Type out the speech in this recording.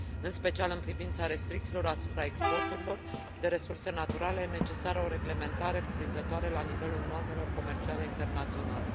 În special în privința restricțiilor asupra exporturilor de resurse naturale e necesară o reglementare cuprinzătoare la nivelul normelor comerciale internaționale.